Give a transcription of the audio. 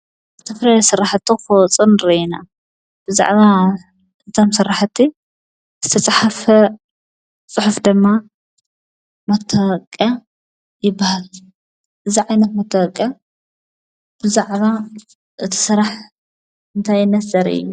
ዝተፈላለዩ ስራሕቲ ክወፅኡ ንርኢ ኢና። ብዛዕባ እቶም ስራሕቲ ዝተፃሕፈ ፅሑፍ ድማ መታወቅያ ይባሃል። እዙይ ዓይነት መታወቅያ ብዛዕባ እቲ ስራሕ እንታይነት ዘርኢ እዩ።